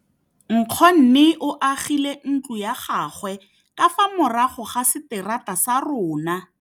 Nkgonne o agile ntlo ya gagwe ka fa morago ga seterata sa rona.